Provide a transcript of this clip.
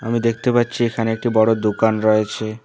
আমি দেখতে পাচ্ছি এখানে একটি বড়ো দোকান রয়েছে।